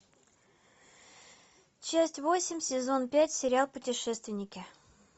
часть восемь сезон пять сериал путешественники